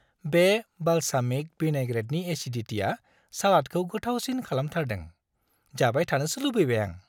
बे बालसामिक विनैग्रेटनि एसिदिटिआ सालादखौ गोथावसिन खालामथारदों, जाबाय थानोसो लुबैबाय आं।